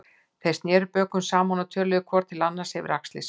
Þeir sneru bökum saman og töluðu hvor til annars yfir axlir sér.